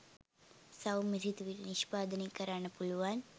සෞම්‍ය සිතුවිලි නිශ්පාදනය කරන්න පුළුවන්